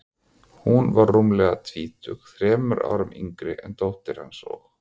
Hún var rúmlega tvítug, þremur árum yngri en dóttir hans, og